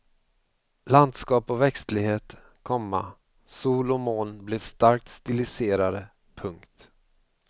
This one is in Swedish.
Landskap och växtlighet, komma sol och moln blev starkt stiliserade. punkt